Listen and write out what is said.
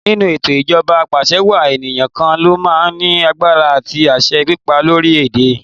Nínú ètò ijoba Apàṣẹwàá, ènìyàn kan lo máa ń ní agbára àti àṣẹ pípa lórí orílẹ̀ èdè.